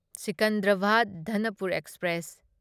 Secunderabad Danapur express